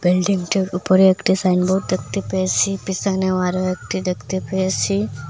বিল্ডিংটির উপরে একটি সাইনবোর্ড দেখতে পেয়েসি পিসনেও আরও একটি দেখতে পেয়েসি ।